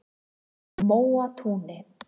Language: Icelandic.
Móatúni